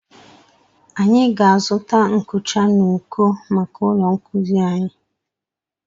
Anyị ga-azụta nkucha n'uko maka ụlọ nkuzi anyi.